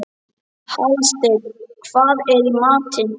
Hallsteinn, hvað er í matinn?